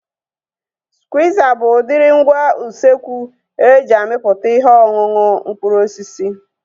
Skwiiza bụ udiri ngwa usekwu e ji amịpụta ihe ọṅụṅụ mkpụrụ osisi